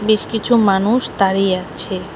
বেশ কিছু মানুষ তাড়িয়ে আছে।